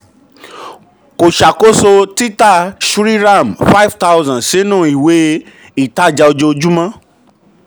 kò ṣàkóso tita um shriram five thousand sínú ìwé um sínú ìwé um ìtajà ojoojúmọ́.